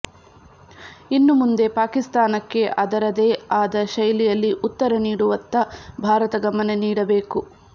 ಇನ್ನು ಮುಂದೆ ಪಾಕಿಸ್ತಾನಕ್ಕೆ ಅದರದೇ ಆದ ಶೈಲಿಯಲ್ಲಿ ಉತ್ತರ ನೀಡುವತ್ತ ಭಾರತ ಗಮನ ನೀಡಬೇಕು